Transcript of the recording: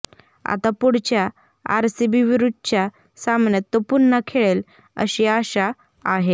आता पुढच्या आरसीबीविरुद्धच्या सामन्यात तो पुन्हा खेळेल अशी आशा आहे